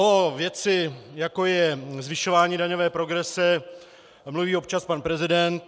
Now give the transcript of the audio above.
O věci, jako je zvyšování daňové progrese, mluví občas pan prezident.